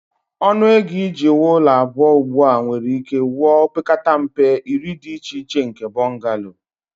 Ọnụ ego iji wuo ụlọ abụọ ugbu a nwere ike wuo opekata mpe iri dị iche iche nke bungalow